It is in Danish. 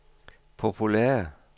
populære